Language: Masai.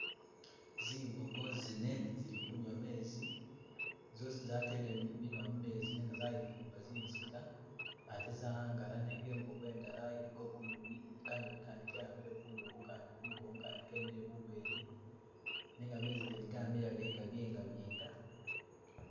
Zimbogo zine zili kunywa mezi, zoozi zatele minwa mumezi, nenga zayifumba zinziga ate za'angala, nenga e'bogo e'ndala iliko bunyunyi, kanyunyi Kandi ke'ambile ku'nduku, kandi kumugongo, kandi mubweni nenga gamezi gene gamiliya gali gabyenga byenga